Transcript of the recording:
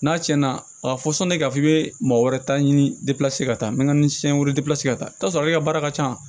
N'a cɛn na a ka fɔ sanni ka f'i be mɔgɔ wɛrɛ ta ɲini ka taa nɛkasiɲɛ were ka taa sɔrɔ ale ka baara ka ca